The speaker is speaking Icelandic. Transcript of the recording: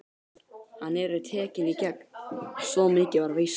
Hann yrði tekinn í gegn, svo mikið var víst.